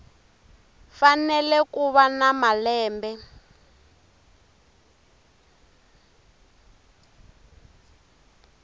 fanele ku va na malembe